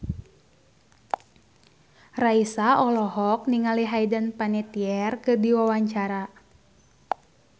Raisa olohok ningali Hayden Panettiere keur diwawancara